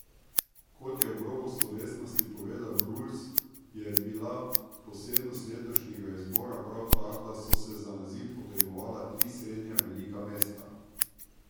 Kot je ob robu slovesnosti povedal Bruls, je bila posebnost letošnjega izbora prav ta, da so se za naziv potegovala tri srednje velika mesta.